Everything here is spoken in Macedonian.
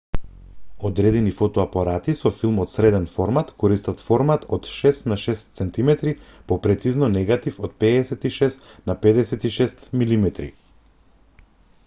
одредени фотоапарати со филм од среден формат користат формат од 6 на 6 cm попрецизно негатив од 56 на 56 mm